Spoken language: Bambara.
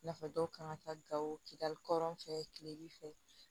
I n'a fɔ dɔw kan ka taa gawo kidali kɔrɔn fɛ kilebin fɛ